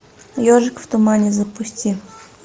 ежик в тумане запусти